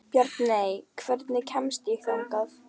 Bjarney, hvernig kemst ég þangað?